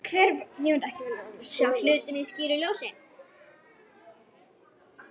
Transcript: Sjá hlutina í skýru ljósi.